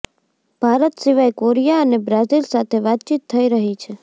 ભારત સિવાય કોરિયા અને બ્રાઝિલ સાથે વાતચીત થઈ રહી છે